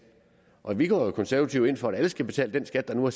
og vi går jo som konservative ind for at alle skal betale den skat der nu er